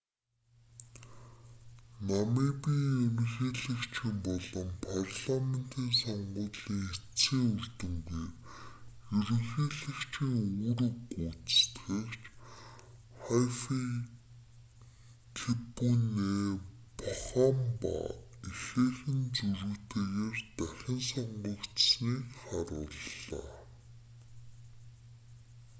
намибын ерөнхийлөгчийн болон парламентын сонгуулийн эцсийн үр дүнээр ерөнхийлөгчийн үүрэг гүйцэтгэгч хайфикепуне похамба ихээхэн зөрүүтэйгээр дахин сонгогдсоныг харууллаа